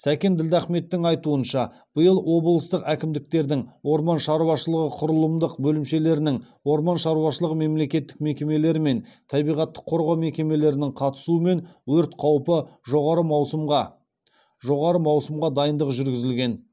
сәкен ділдахметтің айтуынша биыл облыстық әкімдіктердің орман шаруашылығы құрылымдық бөлімшелерінің орман шаруашылығы мемлекеттік мекемелері мен табиғатты қорғау мекемелерінің қатысуымен өрт қаупі жоғары маусымға жоғары маусымға дайындық жүргізілген